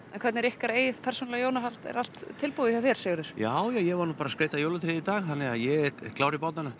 en hvernig er ykkar eigið persónulega jólahald er allt tilbúið hjá þér Sigurður já ég var nú bara að skreyta jólatréð í dag þannig að ég er klár